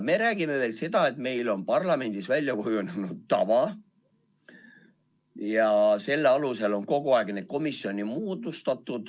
Me räägime veel sellest, et meil on parlamendis väljakujunenud tava ja selle alusel on kogu aeg neid komisjone moodustatud.